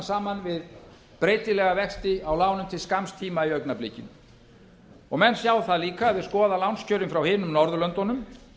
saman við breytilega vexti á lánum til skamms tíma í augnablikinu menn sjá það líka ef þeir skoða lánskjörin frá hinum norðurlöndunum